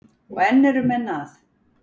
Og enn eru menn að.